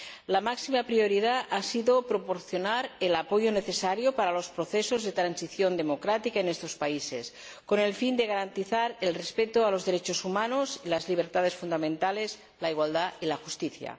La máxima prioridad ha sido proporcionar el apoyo necesario para los procesos de transición democrática en estos países, con el fin de garantizar el respeto a los derechos humanos, las libertades fundamentales, la igualdad y la justicia.